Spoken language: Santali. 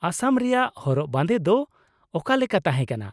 ᱟᱥᱟᱢ ᱨᱮᱭᱟᱜ ᱦᱚᱨᱚᱜ ᱵᱟᱸᱫᱮ ᱫᱚ ᱚᱠᱟᱞᱮᱠᱟ ᱛᱟᱦᱮᱸ ᱠᱟᱱᱟ ?